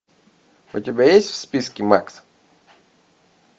у тебя есть в списке макс